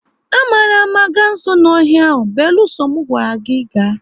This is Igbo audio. Ama na ama ga nso n'ọhịa ahụ, beluso mu a gwara gị ga!